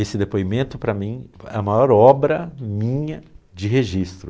Esse depoimento para mim é a maior obra minha de registro.